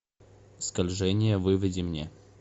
скольжение выведи мне